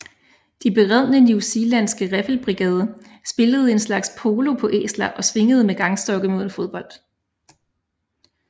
Den beredne newzealandske riffelbrigade spillede en slags polo på æsler og svingede med gangstokke mod en fodbold